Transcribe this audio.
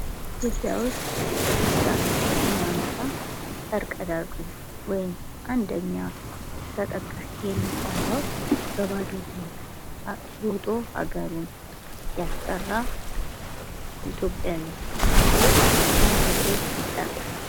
ኢትዮጵያ ውስጥ እሩጫን ስናነሳ ፈር ቀዳጁ ወይም አንደኛ ተጠቃሹ የሚባለው በባዶ እግሩ እሮጦ አገሩን ያስጠራ ኢትዮጵያዊ አትሌት ማን ተብሎ ይጠራል?